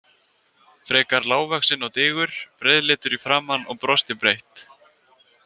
Frekar lágvaxinn og digur, breiðleitur í framan og brosti breitt.